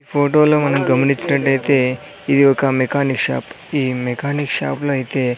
ఫోటోలో మనం గమనించినట్టయితే ఇది ఒక మెకానిక్ షాప్ ఈ మెకానిక్ షాప్ లో అయితే.